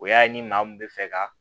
O y'a ye ni maa mun bɛ fɛ ka